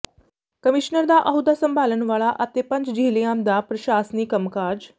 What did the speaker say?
commissioner ਦਾ ਅਹੁਦਾ ਸੰਭਾਲਣ ਵਾਲਾ ਅਤੇ ਪੰਜ ਜਿਲ੍ਹੀਆਂ ਦਾ ਪ੍ਰਸ਼ਾਸਨੀ ਕੰਮਕਾਜ